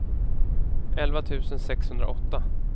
elva tusen sexhundraåtta